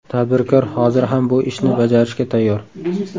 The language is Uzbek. Tadbirkor hozir ham bu ishni bajarishga tayyor.